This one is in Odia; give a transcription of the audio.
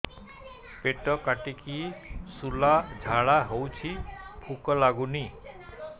ପେଟ କାଟିକି ଶୂଳା ଝାଡ଼ା ହଉଚି ଭୁକ ଲାଗୁନି